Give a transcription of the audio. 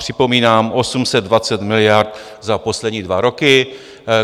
Připomínám 820 miliard za poslední dva roky.